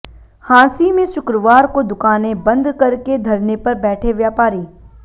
हांसी में शुक्रवार को दुकानें बंद करके धरने पर बैठे व्यापारी